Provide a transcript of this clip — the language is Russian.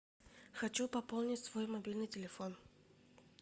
хочу пополнить свой мобильный телефон